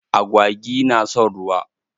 Agwagi na son ruwa.